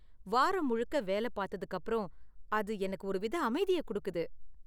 வாரம் முழுக்க வேலை பார்த்ததுக்கு அப்பறம், அது எனக்கு ஒரு வித அமைதிய கொடுக்குது.